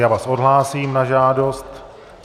Já vás odhlásím na žádost.